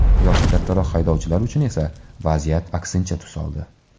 Yoshi kattaroq haydovchilar uchun esa vaziyat aksincha tus oldi.